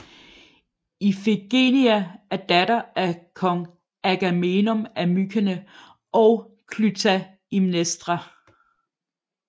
Ifigenia er datter af kong Agamemnon af Mykene og Klytaimnestra